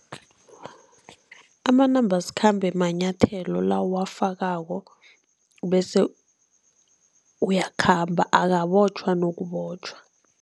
Amanambasikhambe manyathelo la owafakako bese uyakhamba, akabotjhwa nokubotjhwa.